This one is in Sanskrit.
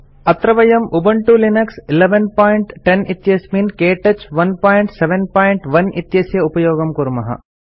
अत्र वयं उबंटू लिनक्स 1110 इत्यस्मिन् के टच 171 इत्यस्य उपयोगं कुर्मः